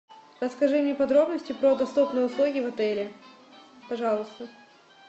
расскажи мне подробности про доступные услуги в отеле пожалуйста